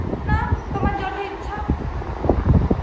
না তোমার যটা ইচ্ছা